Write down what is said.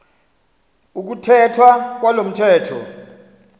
ukuthethwa kwalo mthetho